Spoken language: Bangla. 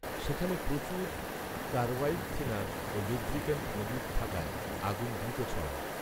সেখানে প্রচুর কার্বাইডথিনার ও লুব্রিক্যান্ট মজুত থাকায় আগুন দ্রুত ছড়ায়